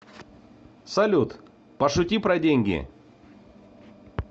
салют пошути про деньги